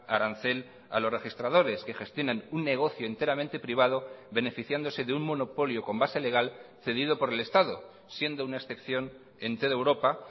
arancel a los registradores que gestionan un negocio enteramente privado beneficiándose de un monopolio con base legal cedido por el estado siendo una excepción en toda europa